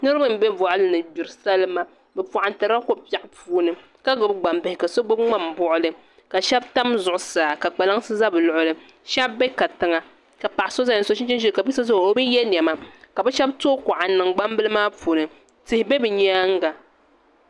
Niraba n bɛ boɣali ni n gbiri salima bi paɣantirila ko biɛɣu puuni ka gbubi gbambihi ka so gbubi ŋmani buɣuli ka shab tam zuɣusaa ka kpalaŋsi ʒɛ bi luɣuli shab bɛ kantiŋa ka paɣa so ʒɛya n so chinchin ʒiɛ ka bia so ʒɛya o bi yɛ niɛma ka bi shab tooi kuɣa n niŋ gbambili maa puuni tihi bɛ bi nyaanga